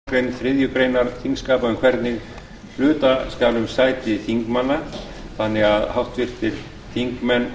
leita þarf afbrigða frá þingsköpum það er lokamálsgrein þriðju greinar þingskapa um hvernig hluta skal um sæti þingmanna þannig að háttvirtur þingmaður